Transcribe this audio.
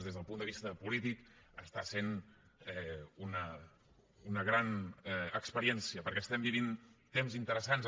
des del punt de vista polític està sent una gran experiència política perquè estem vivint temps interessants